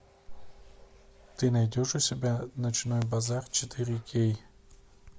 ты найдешь у себя ночной базар четыре кей